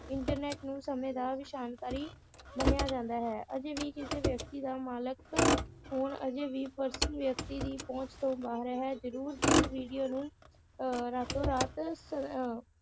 internet ਨੂੰ ਸਮੇ ਵਿਸ਼ਾਨਕਾਰੀ ਮੰਨਿਆ ਜਾਂਦਾ ਹੈ ਅਜੇ ਵੀ ਕਿਸੇ ਵ੍ਯਕਤੀ ਦਾ ਮਾਲਕ ਹੋਣ ਅਜੇ ਵੀ ਵ੍ਯਕਤੀ ਦੀ ਪਹੁੰਚ ਤੋਂ ਬਾਹਰ ਹੈ ਜਰੂਰ ਜਿਸ ਵੀਡੀਓ ਨੂੰ ਅਹ ਰਾਤੋਂ ਰਾਤ ਸ~ ਅਹ